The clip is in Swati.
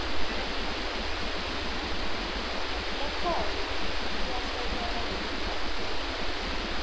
lekhona ayikasekelwa ngekucaphuna